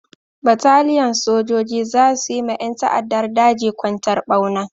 Bataliyan sojoji za su yi ma ƴan ta'addar daji kwantar ɓauna.